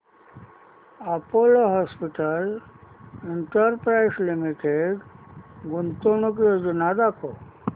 Apollo hospitals enterprise limited गुंतवणूक योजना दाखव